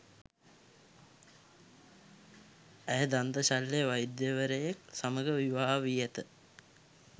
ඇය දන්ත ශල්‍ය වෛද්‍යවරයෙක් සමග විවාහ වී ඇත